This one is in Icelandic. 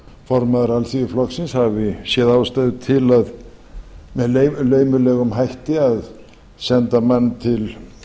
formaður alþýðuflokksins hafi séð ástæðu til með laumulegum hætti að senda mann til